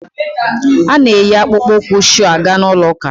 A na-eyi akpụkpọ ụkwụ shuu aga ụlọ ụka.